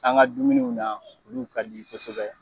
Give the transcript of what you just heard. ƆAn ga dumuniw na olu ka di kosɛbɛ